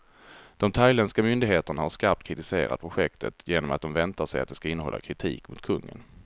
De thailändska myndigheterna har skarpt kritiserat projektet, genom att de väntar sig att det ska innehålla kritik mot kungen.